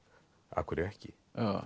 af hverju ekki